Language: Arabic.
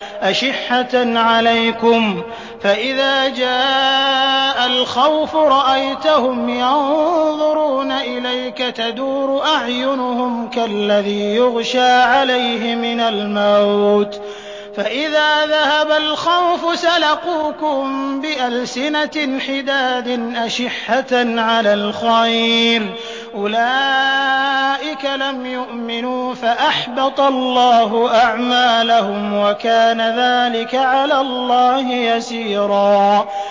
أَشِحَّةً عَلَيْكُمْ ۖ فَإِذَا جَاءَ الْخَوْفُ رَأَيْتَهُمْ يَنظُرُونَ إِلَيْكَ تَدُورُ أَعْيُنُهُمْ كَالَّذِي يُغْشَىٰ عَلَيْهِ مِنَ الْمَوْتِ ۖ فَإِذَا ذَهَبَ الْخَوْفُ سَلَقُوكُم بِأَلْسِنَةٍ حِدَادٍ أَشِحَّةً عَلَى الْخَيْرِ ۚ أُولَٰئِكَ لَمْ يُؤْمِنُوا فَأَحْبَطَ اللَّهُ أَعْمَالَهُمْ ۚ وَكَانَ ذَٰلِكَ عَلَى اللَّهِ يَسِيرًا